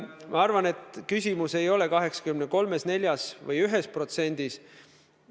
Ma arvan, et küsimus ei ole 83%-s, 84%-s või 1%-s.